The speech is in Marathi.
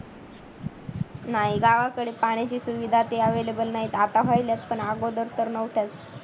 नाही गावाकडे पाण्याची सुविधा ते available नाही आता होईलच पण अगोदर तर नव्हत्याच